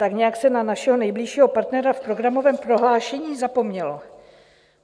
Tak nějak se na našeho nejbližšího partnera v programovém prohlášení zapomnělo.